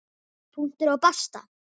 Punktur og basta!